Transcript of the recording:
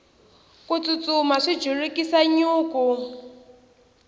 ku tsutsuma swi julukisa nyuku